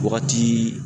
Wagati